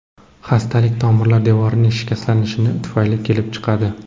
Xastalik tomirlar devorining shikastlanishi tufayli kelib chiqadi.